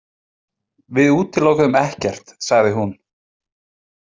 Við útilokuðum ekkert, sagði hún.